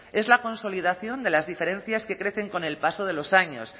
es la consolidación de las diferencias que crecen con el paso de los años